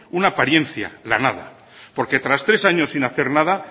una apariencia la nada porque tras tres años sin hacer nada